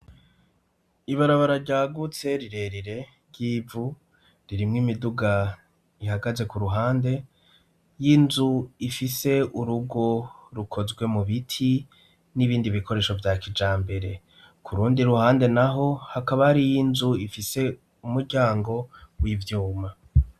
Iarabara ryagutse rirerire ry'ivu, ririmwo imiduga ihagaze, ku ruhande, inzu ifise urugo rukozwe mu biti n'ibindi bikoresho vya kijambere. Kurundi ruhande naho, hakaba hariyo inzu ifise umuryango w'ivyuma.